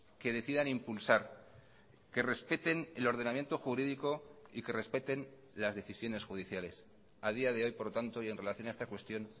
que decidan impulsar que respeten el ordenamiento jurídico y que respeten las decisiones judiciales a día de hoy por lo tanto y en relación a esta cuestión